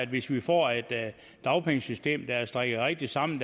hvis vi får et dagpengesystem der er strikket rigtigt sammen